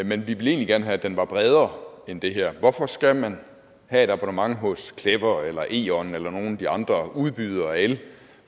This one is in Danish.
men vi ville egentlig gerne have at den var bredere end det her hvorfor skal man have et abonnement hos clever eller eon eller nogle af de andre udbydere af el